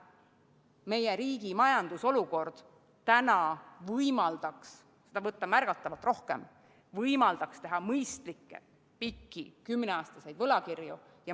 Meie riigi majandusolukord võimaldaks seda võtta märgatavalt rohkem, võimaldaks teha mõistlikke, pikki, kümneaastaseid võlakirju.